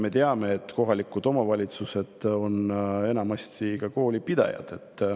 Me teame, et kohalikud omavalitsused on enamasti ka koolipidajad.